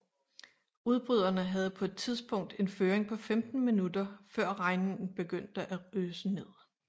Udbryderne havde på et tidspunkt en føring på 15 minutter før regnen begyndte at øse ned